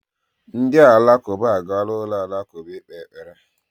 Ndị Alakụba agaala ụlọ alakụba ikpe ekpere